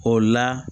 O la